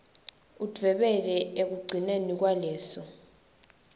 udvwebele ekugcineni kwaleso